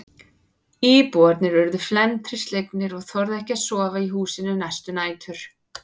Íbúarnir urðu felmtri slegnir og þorðu ekki að sofa í húsinu næstu nætur.